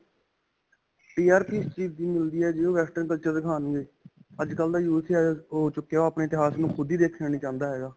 TRP ਇਸ ਚੀਜ਼ ਦੀ ਮਿਲਦੀ ਹੈ, ਜਿੰਨੂੰ western culture ਦਿਖਾਣਗੇ ਅੱਜਕਲ੍ਹ ਦਾ youth ਹੋ ਚੁੱਕਿਆ ਹੈ ਓਹ ਆਪੇ ਇਤਿਹਾਸ ਨੂੰ ਖ਼ੁਦ ਹੀ ਨਹੀਂ ਦੇਖਣਾ ਚਾਹੁੰਦਾ ਹੈਗਾ.